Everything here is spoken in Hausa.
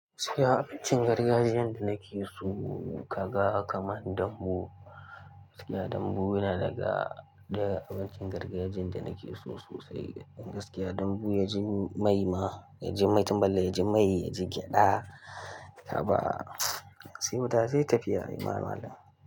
Gaskiya abincin gargajiyan da nake so kaga kaman dambu. Gaskiya dambu yana daga, daga abincin gargajiyan da nake so sosai. Gaskiya dambu ya ji mai ma, ya ji mai tun balle ya ji mai, ya ji gyada haba sai wuta sai tafiya. Ma malam.